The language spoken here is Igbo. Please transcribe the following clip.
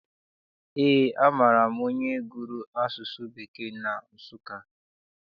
Eé, amaara m onye gụrụ asụsụ Bekee na Nsụka.